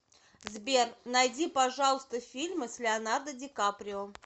сбер найди пожалуйста фильмы с леонардо дикаприо